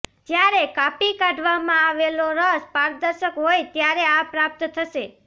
જ્યારે કાપી કાઢવામાં આવેલો રસ પારદર્શક હોય ત્યારે આ પ્રાપ્ત થશે